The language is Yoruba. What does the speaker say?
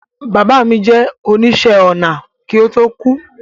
Bàbá mi jẹ́ oníṣẹ̀-ọnà kí ó tó kú